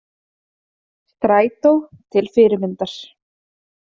Strætó til fyrirmyndar